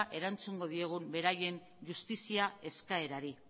erantzungo diegu beraien justizia eskaerari